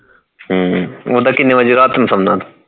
ਹਮ ਓਦਾਂ ਕੀਨੇ ਬਜੇ ਤੱਕ ਰਾਤ ਨੂੰ ਸੌਂਦਾ